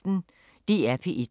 DR P1